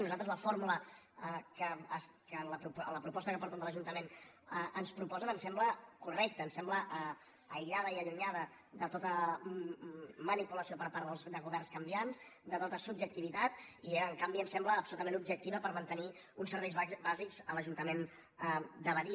nosaltres la fórmula que en la proposta que porten de l’ajuntament ens proposen ens sembla correcta ens sembla aïllada i allunyada de tota manipulació per part de governs canviants de tota subjectivitat i en canvi ens sembla absolutament objectiva per mantenir uns serveis bàsics a l’ajuntament de badia